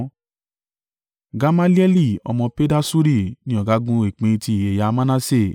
Gamalieli ọmọ Pedasuri ni ọ̀gágun ìpín ti ẹ̀yà Manase.